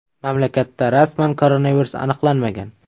Mamlakatda rasman koronavirus aniqlanmagan.